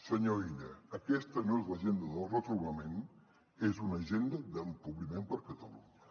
senyor illa aquesta no és l’agenda del retrobament és una agenda d’empobriment per a catalunya